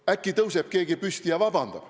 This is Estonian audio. Äkki tõuseb keegi püsti ja palub vabandust.